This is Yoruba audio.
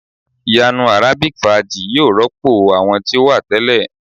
Iyanu arabic faaji yoo rọpo awọn ti o wa tẹlẹ